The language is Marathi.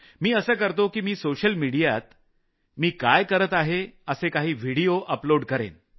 मी असं करतो की मी सोशल मिडियात मी काय करत आहे असे काही व्हिडिओ अपलोड करेन